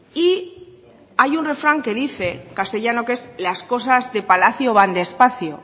y hay un refrán que dice castellano que es las cosas de palacio van despacio